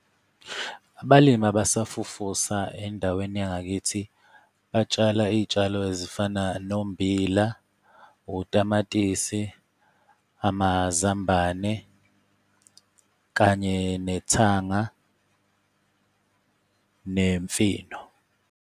Abalimi abasafufusa endaweni yangakithi batshala iy'tshalo ezifana nombila, utamatisi, amazambane kanye nethanga, nemfino.